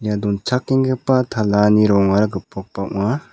ia donchakenggipa talani rongara gipokba ong·a.